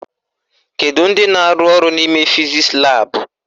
Kedu ndị na-arụ ọrụ n'ime fizisi laabụ?